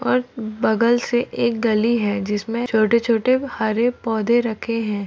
और बगल से एक गली है जिस मे छोटे-छोटे हरे पौधे रखे है।